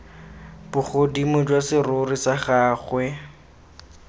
bogodimo jwa serori sa gagwe